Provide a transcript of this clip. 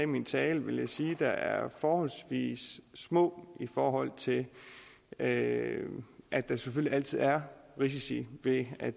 min tale vil jeg sige er forholdsvis små i forhold til at at der selvfølgelig altid er risici ved at